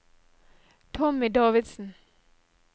Tommy Davidsen